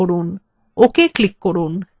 ok click করুন